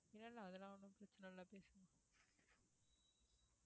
இல்ல இல்ல அதெல்லாம் ஒண்ணும் பிரச்சனை இல்ல பேசுங்க